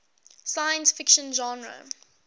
science fiction genre